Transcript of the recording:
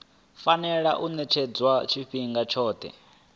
fanela u ṅetshedzwa tshifhinga tshoṱhe